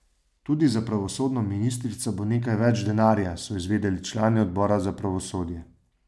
Tudi za pravosodno ministrstvo bo nekaj več denarja, so izvedeli člani odbora za pravosodje.